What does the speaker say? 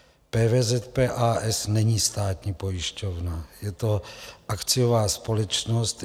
PVZP, a. s., není státní pojišťovna, je to akciová společnost.